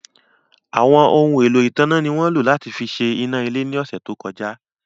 Àwọn ohun èlò ìtanná ni wọ́n lò láti fi ṣe iná ilé ní ọ̀sẹ̀ tó kọjá.